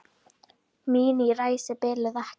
Mín ræsi biluðu ekki.